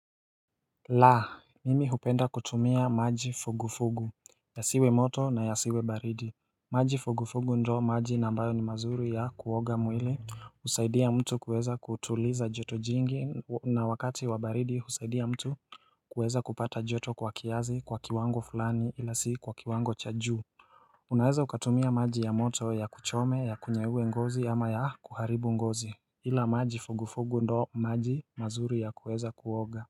La mimi hupenda kutumia maji fugufugu yasiwe moto na yasiwe baridi maji fugufugu ndio maji na ambayo ni mazuri ya kuoga mwili husaidia mtu kuweza kutuliza joto jingi na wakati wa baridi husaidia mtu kuweza kupata joto kwa kiasi kwa kiwango fulani ila si kwa kiwango cha juu Unaweza ukatumia maji ya moto ya kuchome yakunyaue ngozi ama yakuharibu ngozi ila maji fugufugu ndo maji mazuri ya kuweza kuoga.